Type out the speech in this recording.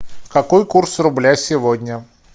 какой курс рубля сегодня